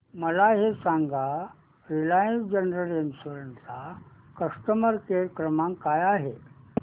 मला हे सांग रिलायन्स जनरल इन्शुरंस चा कस्टमर केअर क्रमांक काय आहे